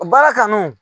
Baara kanu